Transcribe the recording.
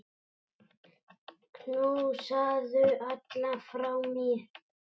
Knúsaðu alla frá mér.